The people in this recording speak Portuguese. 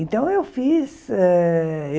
Então, eu fiz. Eh